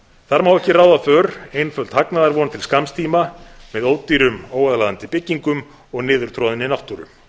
þar má ekki ráða för einföld hagnaðarvon til skamms tíma með ódýrum óaðlaðandi byggingum og niðurtroðinni náttúru